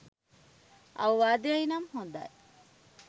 අවවාදය නම් හොදයි